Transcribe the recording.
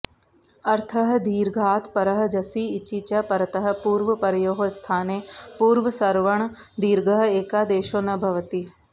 अर्थः दीर्घात् परः जसि इचि च परतः पूर्वपरयोः स्थाने पूर्वसवर्णदीर्घ एकादेशो न भवति